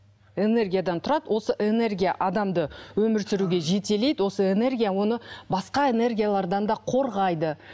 энергиядан тұрады осы энергия адамды өмір сүруге жетелейді осы энергия оны басқа энергиялардан да қорғайды